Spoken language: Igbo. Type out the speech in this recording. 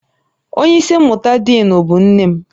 Onye isi mmụta diinu bụ nne m